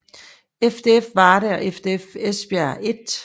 FDF Varde og FDF Esbjerg 1